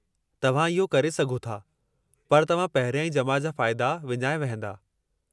तव्हां इहो करे सघो था, पर तव्हां पहिरियाईं जमा जा फ़ाइदा विञाए वहिंदा।